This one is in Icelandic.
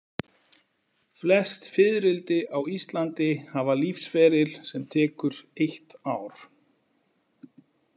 Flest fiðrildi á Íslandi hafa lífsferil sem tekur eitt ár.